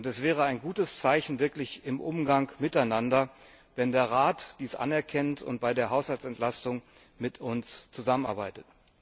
Es wäre wirklich ein gutes Zeichen im Umgang miteinander, wenn der Rat dies anerkennt und bei der Haushaltsentlastung mit uns zusammenarbeitet.